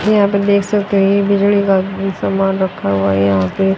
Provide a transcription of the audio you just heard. ये यहां पे देख सकते हैं ये बिजली का समान रखा हुआ हैं यहां पे--